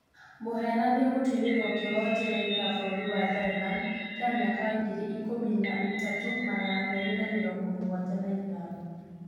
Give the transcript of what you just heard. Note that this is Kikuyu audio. Mũhenania gũtuĩrwo kĩohwo njera ya Bũrũri wa Thailand kĩa mĩaka ngiri ikũmi na ithatũ magana meerĩ na mĩrongo mũgwanja na ĩtano.